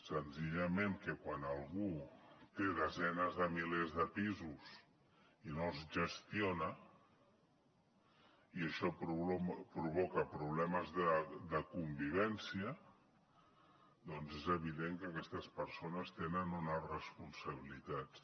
senzillament que quan algú té desenes de milers de pisos i no els gestiona i això provoca problemes de convivència doncs és evident que aquestes persones tenen unes responsabilitats